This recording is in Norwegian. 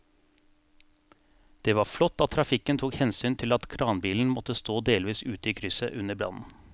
Det var flott at trafikken tok hensyn til at kranbilen måtte stå delvis ute i krysset under brannen.